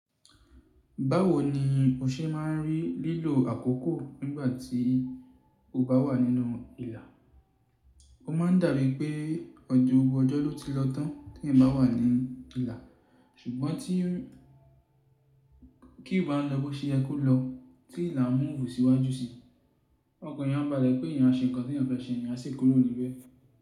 Báwo ni o ṣe máa ń rí lílo àkókò nígbà tí o bá wà nínú ilà? Ó máa ń dàbí pé ọjọ́ gbogbo ọjọ́ ló ti lọ tán tí ẹ bá wà ní ilà, ṣùgbọ́n queue bá ń lọ bó ṣe ẹ ko lọ tí ilà ń move sí wájú sí i. Ọkan eeyan àbálẹ̀ pé èèyàn ṣe nǹkan tí èèyàn fẹ́ ṣe, èèyàn aṣi kúrò níbẹ̀.